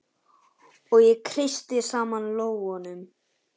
Og ég kreisti saman lófana.